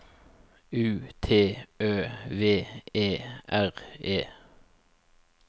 U T Ø V E R E